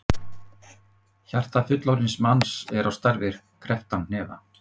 Hjarta fullorðins manns er á stærð við krepptan hnefa.